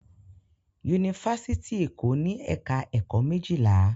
Yunifásítì Èkó ní ẹ̀ka-ẹ̀kọ́ méjìlá.